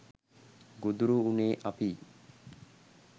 ගොදුරු වුණේ අපියි